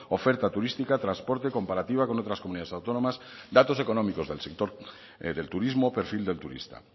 oferta turística transporte comparativa con otras comunidades autónomas datos económicos del sector del turismo perfil del turista